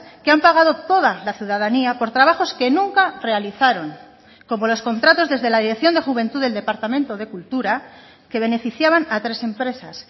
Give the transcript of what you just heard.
que han pagado toda la ciudadanía por trabajos que nunca realizaron como los contratos desde la dirección de juventud del departamento de cultura que beneficiaban a tres empresas